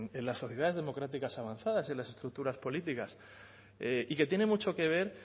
en las sociedades democráticas avanzadas y en las estructuras políticas y que tiene mucho que ver